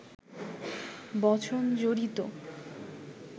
বচন জড়িত